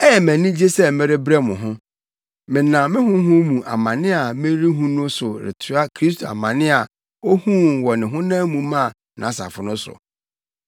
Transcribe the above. Ɛyɛ me anigye sɛ merebrɛ mo ho. Menam me honam mu amane a merehu no so retoa Kristo amane a ohuu wɔ ne honam mu maa nʼasafo no so.